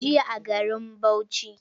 Jiya a garin Bauchi.